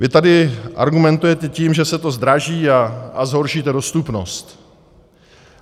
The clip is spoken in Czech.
Vy tady argumentujete tím, že se to zdraží a zhoršíte dostupnost.